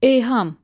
Eyham.